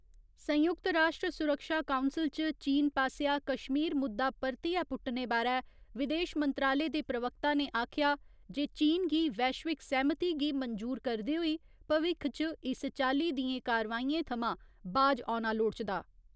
संयुक्त राश्ट्र सुरक्षा काउंसल च चीन पास्सेआ कश्मीर मुद्दा परतियै पुट्टने बारै विदेश मंत्रालय दे प्रवक्ता ने आखेआ जे चीन गी वैश्विक सैह्‌मती गी मंजूर करदे होई भविक्ख च इस चाल्ली दियें कारवाइयें थमां बाज औना लोड़चदा।